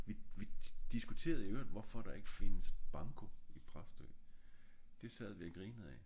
vi vi diskuterede i øverigt hvorfor der ik findes banko i bræt stykker det sad vi og grinede af